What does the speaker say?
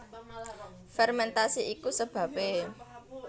Fermentasi iku sebabé